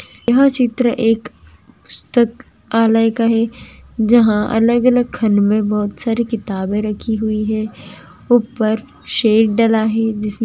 यह चित्र एक पुस्तकालय का है जहा अलग अलग खंड मे बहुत सारी किताबे रखी हुए है ऊपर शेड डला है|